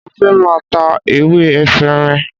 Mo fẹ́ máa ta ewé efinrin